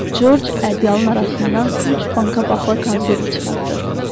Corc ədyalın arasından üç banka paxla konservi çıxartdı.